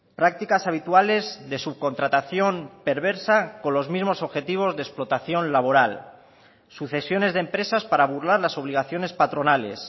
prácticas habituales de subcontratación perversa con los mismos objetivos de explotación laboral sucesiones de empresas para burlar las obligaciones patronales